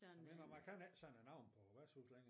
Mener man kan ikke sådan navne på værtshuse længere